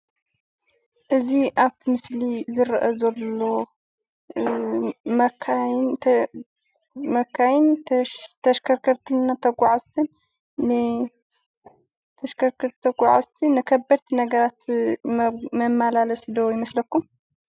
እዚ ኣብ እቲ ምስሊ ዝረአ ዘሎ መካይን ተሽከርከርትን ተጋዓዝትን ንከበድቲ ነገራት መመላለስቲ ዶ ይመስለኩም?